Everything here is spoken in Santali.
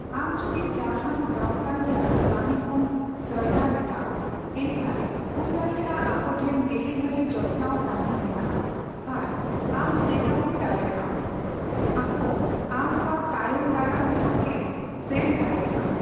ᱟᱢ ᱡᱩᱫᱤ ᱡᱟᱦᱟᱱ ᱜᱟᱣᱛᱟ ᱨᱮᱭᱟᱜ ᱠᱟᱹᱢᱤ ᱠᱷᱚᱱ ᱥᱚᱣᱫᱟ ᱞᱮᱫᱟ, ᱮᱱᱠᱷᱟᱱ ᱦᱩᱭ ᱫᱟᱲᱮᱭᱟᱜᱼᱟ ᱟᱠᱚ ᱴᱷᱮᱱ ᱰᱤᱞᱤᱵᱷᱟᱨᱤ ᱡᱚᱛᱱᱟᱣ ᱛᱟᱦᱮᱸ ᱢᱮᱱᱟᱜᱼᱟ ᱟᱨ ᱟᱢ ᱪᱮᱠᱼᱟᱭᱩᱴ ᱫᱟᱲᱮᱭᱟᱜᱼᱟᱢ ᱟᱠᱚ ᱟᱢ ᱥᱟᱣ ᱛᱟᱭᱚᱢ ᱫᱟᱨᱟᱢ ᱛᱷᱟᱠᱮᱢ ᱥᱮᱱ ᱫᱟᱲᱮᱭᱟᱜᱼᱟ᱾